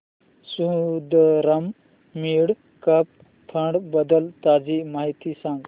Sundaram mid cap fund बद्दल ताजी माहिती सांग